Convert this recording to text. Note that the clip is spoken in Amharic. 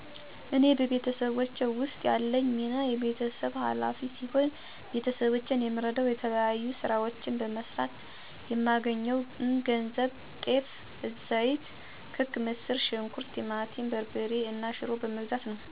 እኔ በቤተሰቤ ውስጥ ያለኝ ሚና የቤተሰብ ኋላፊ ሲሆን፤ ቤተሰቦቼን የምረደዉ የተለያዩ ስራዎችን በመስራት የማገኘውን ገንዘብ ጤፍ፣ ዘይት፣ ክክ፣ ምስር ሽንኩርት፣ ቲማቲም በርበሬ እና ሽሮ በመግዛት ነው። በተጨማሪም የቤት ክራይ፣ የትምህርት ቤት ክፍያ፣ የጫማ መግዣ፣ የልብስ መግዣ እና አንዳንድ ጊዜ ደግሞ ለመዝናኛ የማገኘዉን ገንዘብ በአግባቡ እጠቀማለሁ። ነገር ግን አሁን ባለው የዋጋ ግሽፈት እና የስራ መጥፋት የተነሳ እናት፣ አባት፣ እህት እና ወንድሞቼን እንኳን ልረዳቸው ከእነሱ እርዳታ እየጠየኩ እገኛለሁ።